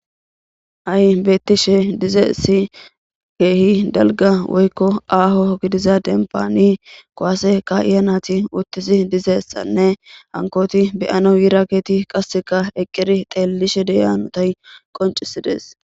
Ha'i beettishe dizayssi keehi dalga woykko aaho gidiza denpaani kowase ka'iya nati uttidi dizayssanne hankoti be'anaw yiraageti qasseka eqqeri xeelishe de'iya hanotay qoncisides